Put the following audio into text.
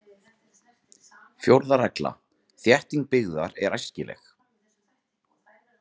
Fjórða regla: Þétting byggðar er æskileg.